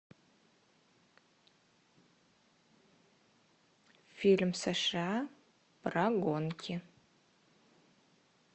фильм сша про гонки